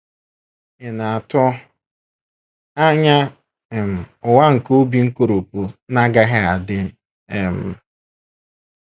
Ị̀ na - atụ anya um ụwa nke obi nkoropụ na - agaghị adị um?